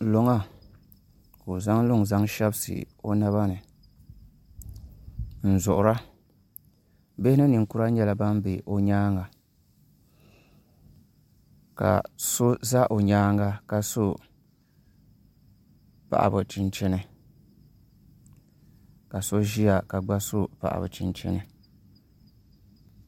Luŋa ka o zaŋ luŋ zaŋ shɛbisi o naba ni n zuɣura bihi ni ninkura nyɛla ban bɛ o nyaanga ka so ʒɛ o nyaanga ka so paɣaba chinchini ka so gba ƶiya ka so paɣaba chinchini